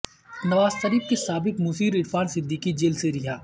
نواز شریف کے سابق مشیر عرفان صدیقی جیل سے رہا